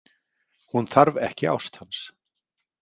Hún þarf ekki ást hans.